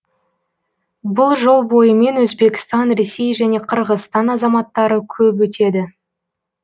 бұл жол бойымен өзбекстан ресей және қырғызстан азаматтары көп өтеді